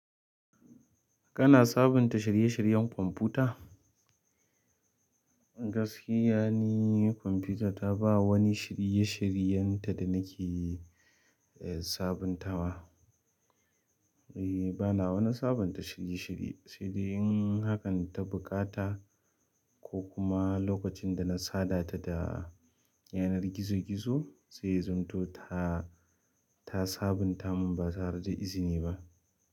Kana sabunta shirye-shiryen kwamfuta? Gaskiya ne kwamfuta ta ba wani shirye-shiryen ta da nake sabuntawa. Eh bana wani sabunta shirye-shirye, sai dai in hakan ta buƙata ko kuma lokacin da na saba ta da yanar gizo-gizo sai ya zamto, ta sabunta mun ba tare da izini ba.